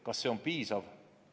Kas see on piisav?